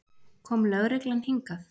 Kom lögreglan hingað?